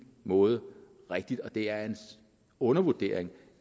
måde rigtigt det er en undervurdering